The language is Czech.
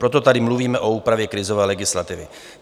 Proto tady mluvíme o úpravě krizové legislativy.